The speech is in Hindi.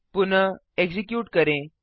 पुनः एक्जीक्यूट करें